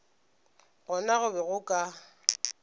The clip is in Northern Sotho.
gona go be go ka